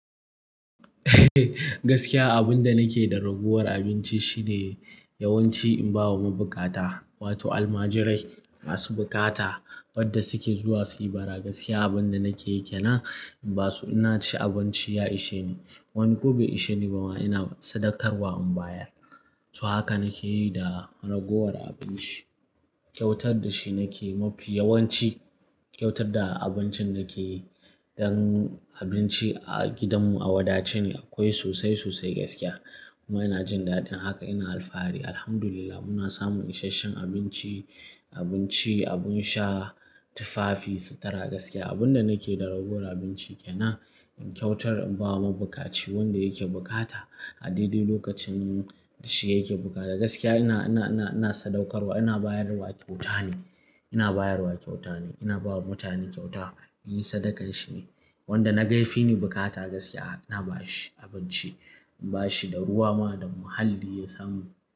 Gaskiya abin da nake da ragowar abinci shine yawanci in ba wa mabuƙata, wato almajirai masu buƙata wanda suke zuwa suyi bara. Gaskiya abin da nake yana in basu ina ci abinci ya ishe ni. Wani ko bai ishe ni ba ma ina sadakarwa in bayar. So haka nake yi da ragowar abinci. Kyautar da shi nake mafi yawanci kyautar da abincin nake yi. Dan abinci a gidanmu a wadace ne akwai sosai sosai gaskiya. Kuma ina jin daɗin haka ina alfahari. Alhamdulillah muna samun isasshen abinci, abinci, abin sha, tufafi, sutura gaskiya. Abin da nake da ragowar abinci kena in kyautar in ba wa mabuƙaci wanda yake buƙata. A daidai lokacin da shi yake bukata gaskiya ina, ina, ina, ina sadaukarwa ina bayarwa kyauta ne. Ina bayarwa kyauta ne. Ina ba wa mutane kyauta. In yi sadakan shi ne. Wanda na gaifi ni buƙata gaskiya ina ba shi abinci. In ba shi da ruwa ma da muhalli ya samu.